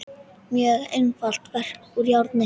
Mjög einfalt verk úr járni.